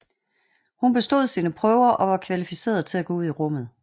Hun bestod sine prøver og var kvalificeret til at gå ud i rummet